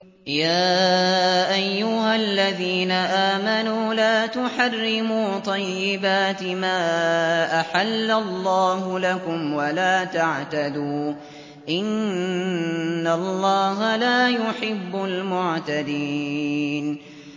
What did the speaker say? يَا أَيُّهَا الَّذِينَ آمَنُوا لَا تُحَرِّمُوا طَيِّبَاتِ مَا أَحَلَّ اللَّهُ لَكُمْ وَلَا تَعْتَدُوا ۚ إِنَّ اللَّهَ لَا يُحِبُّ الْمُعْتَدِينَ